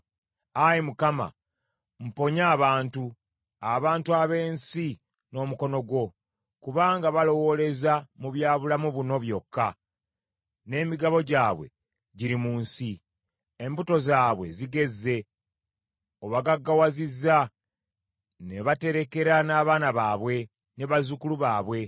Ayi Mukama , mponya abantu, abantu ab’ensi n’omukono gwo, kubanga balowooleza mu bya bulamu buno byokka, n’emigabo gyabwe giri mu nsi. Embuto zaabwe zigezze, obagaggawazizza ne baterekera n’abaana baabwe ne bazzukulu baabwe.